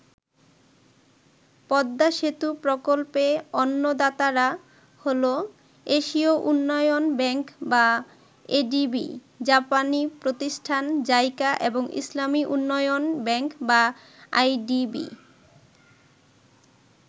পদ্মা সেতু প্রকল্পে অন্য দাতারা হলো, এশীয় উন্নয়ন ব্যাংক বা এডিবি, জাপানি প্রতিষ্ঠান জাইকা এবং ইসলামী উন্নয়ন ব্যাংক বা আইডিবি।